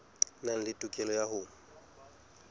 nang le tokelo ya ho